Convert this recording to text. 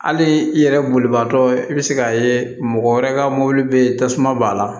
Hali i yɛrɛ bolibaatɔ i bɛ se k'a ye mɔgɔ wɛrɛ ka mobili bɛ tasuma b'a la